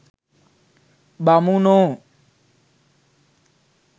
බමුණෝ